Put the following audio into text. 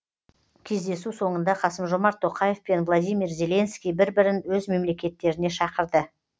кездесу соңында қасым жомарт тоқаев пен владимир зеленский бір бірін өз мемлекеттеріне шақырды